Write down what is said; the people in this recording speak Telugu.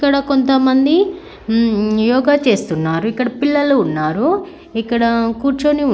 ఇక్కడ కొంతమంది యోగా చేస్తున్నారు ఇక్కడ పిల్లలు ఉన్నారు ఇక్కడ కూర్చుని ఉన్నారు.